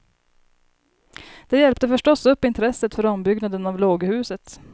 Det hjälpte förstås upp intresset för ombyggnaden av låghuset.